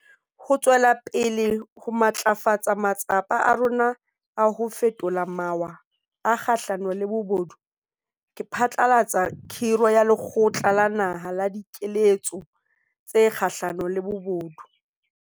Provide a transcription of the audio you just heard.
Ho tswela pele ho matlafatsa matsapa a rona a ho fetola mawa a kgahlano le bobodu, ke phatlalatsa khiro ya Lekgotla la Naha la Dikeletso tse Kgahlano le Bobodu.